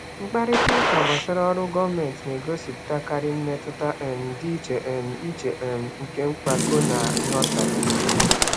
Mkparịta ụka gbasara ọrụ gọọmentị na-egosipụtakarị mmetụta um dị iche um iche um nke mpako na nghọtahie.